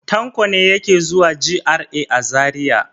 Tanko ne yake zuwa GRA a Zariya.